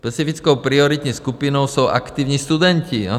Specifickou prioritní skupinou jsou aktivní studenti.